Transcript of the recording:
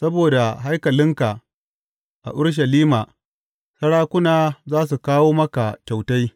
Saboda haikalinka a Urushalima sarakuna za su kawo maka kyautai.